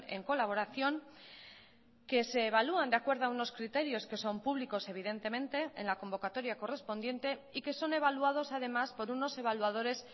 en colaboración que se evalúan de acuerdo a unos criterios que son públicos evidentemente en la convocatoria correspondiente y que son evaluados además por unos evaluadores